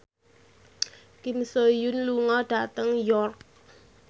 Kim So Hyun lunga dhateng York